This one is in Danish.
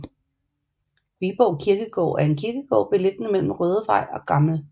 Viborg Kirkegård er en kirkegård beliggende imellem Rødevej og Gl